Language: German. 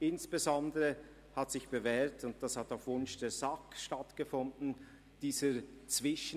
Insbesondere hat sich dieser Zwischendialog, welcher auf Wunsch der SAK stattfand, bewährt.